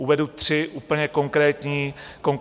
Uvedu tři úplně konkrétní důvody.